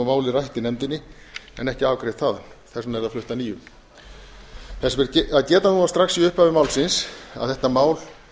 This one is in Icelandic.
málið rætt í nefndinni en ekki afgreitt þaðan þess vegna er það flutt að nýju þess ber að geta núna strax í upphafi málsins að þetta mál